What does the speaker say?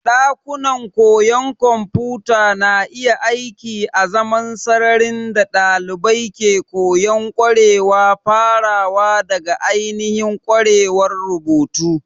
Ɗakunan koyon kwamfuta na iya aiki azaman sararin da ɗalibai ke koyon ƙwarewa farawa daga ainihin ƙwarewar rubutu.